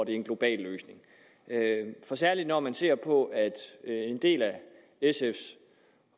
en global løsning for særlig når man ser på at en del af sf